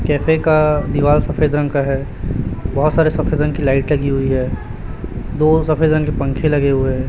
Cafe का दीवार सफेद रंग का है बहुत सारे सफेद रंग की लाइट लगी हुई है दो सफेद रंग के पंखे लगे हुए हैं।